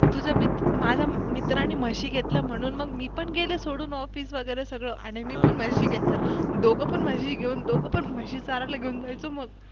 तूज्या मित्र माज्या मित्रान म्हशी घेतल्या म्हणून मी पण गेले सोडून. Office वेगेरे सगळ आणि मी पण म्हशी घेतल्या दोघपण म्हशी घेऊन दोघपण म्हशी चारायला घेऊन जायचो मग.